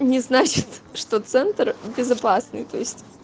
не значит что центр безопасный то есть